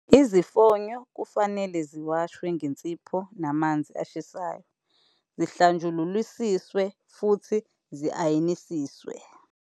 Izifonyo kufanele ziwashwe ngensipho namanzi ashisayo, zihlanjululisiswe futhi zi-ayinisiswe.